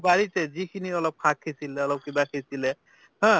বাৰিতে যিখিনি অলপ শাক সিচিলে, অলপ কিবা সিচিলে হা